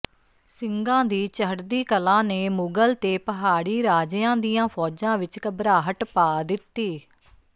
ਸਿੰਘਾਂ ਦੀ ਚੜ੍ਹਦੀ ਕਲਾ ਨੇ ਮੁਗ਼ਲ ਤੇ ਪਹਾੜੀ ਰਾਜਿਆਂ ਦੀਆਂ ਫ਼ੌਜਾਂ ਵਿੱਚ ਘਬਰਾਹਟ ਪਾ ਦਿੱਤੀ